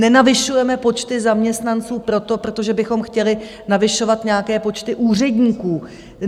Nenavyšujeme počty zaměstnanců proto, protože bychom chtěli navyšovat nějaké počty úředníků.